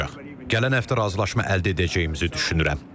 Gələn həftə razılaşma əldə edəcəyimizi düşünürəm.